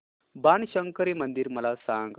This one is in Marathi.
बाणशंकरी मंदिर मला सांग